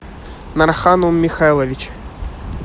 нарханум михайлович